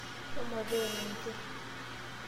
Shomo teena enkerr.